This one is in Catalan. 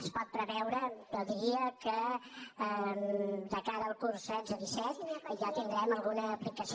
es pot preveure jo diria que de cara al curs dos mil setze dos mil disset ja en tindrem alguna aplicació